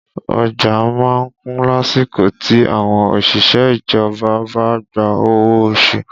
Ọjà má ń kún lásìkò tí àwọn òṣìṣẹ́ ìjọba bá gba owó oṣù